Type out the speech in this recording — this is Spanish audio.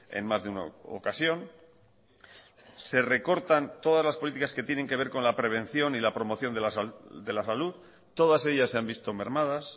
en más de una ocasión se recortan todas las políticas que tienen que ver con la prevención y la promoción de la salud todas ellas se han visto mermadas